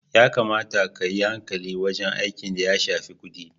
Ya kamata kayi hankali wajen aiki da ya shafi kudi.